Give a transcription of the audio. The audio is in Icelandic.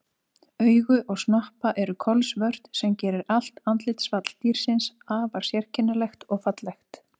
Augu og snoppa eru kolsvört sem gerir allt andlitsfall dýrsins afar sérkennilegt og fallegt.